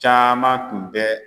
Caman tun bɛ